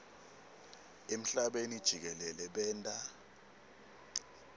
emhlabeni jikelele benta